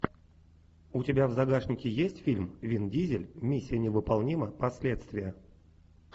у тебя в загашнике есть фильм вин дизель миссия невыполнима последствия